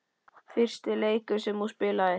Fyrsti leikur sem þú spilaðir?